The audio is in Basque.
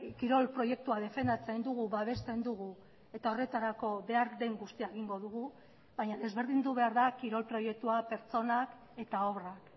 kirol proiektua defendatzen dugu babesten dugu eta horretarako behar den guztia egingo dugu baina desberdindu behar da kirol proiektua pertsonak eta obrak